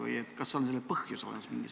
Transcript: Kas on mingisugune konkreetne põhjus olemas?